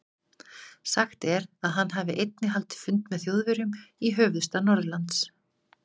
Sagt er, að hann hafi einnig haldið fund með Þjóðverjum í höfuðstað Norðurlands.